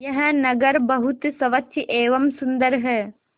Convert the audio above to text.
यह नगर बहुत स्वच्छ एवं सुंदर है